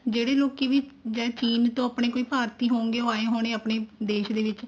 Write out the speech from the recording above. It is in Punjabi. ਜਿਹੜੇ ਲੋਕੀ ਵੀ ਜਾਂ ਚੀਨ ਤੋਂ ਆਪਣੇ ਕੋਈ ਭਾਰਤੀ ਹੋਣਗੇ ਉਹ ਆਏ ਹੋਣੇ ਆਪਣੇ ਦੇਸ਼ ਦੇ ਵਿੱਚ